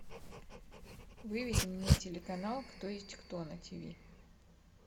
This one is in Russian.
выведи мне телеканал кто есть кто на тв